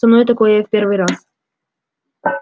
со мной такое в первый раз